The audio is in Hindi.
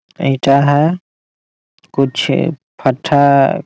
ईटा है कुछ फत्थर --